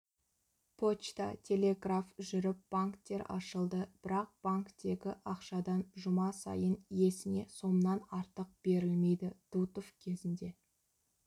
почта телеграф жүріп банктер ашылды бірақ банктегі ақшадан жұма сайын иесіне сомнан артық берілмейді дутов кезінде